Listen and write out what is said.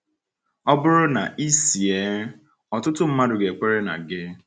*— Ọ bụrụ na ị sị ee, ọtụtụ mmadụ ga-ekwenye na gị.